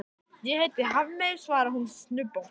Ég heiti ekki Hafmey, svarar hún snubbótt.